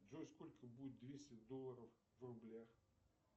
джой сколько будет двести долларов в рублях